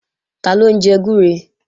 Taló ń jẹ gbúre?